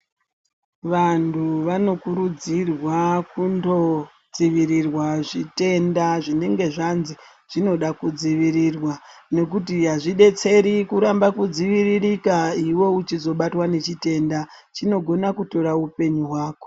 Vantu vano kuridzirwa kunodzivirirwa zvitenda zvinenge zvanzi zvinoda kudzivirira nekuti hazvidetseri kuramba kudzivirika iwe uchizobatwa nechitenda chinogona kuzotora upenyu hwako.